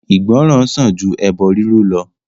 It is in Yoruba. Ìgbọràn sàn ju ẹbọ riru lọ.